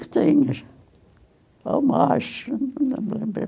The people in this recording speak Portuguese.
Tinha, ou mais, não me lembro bem.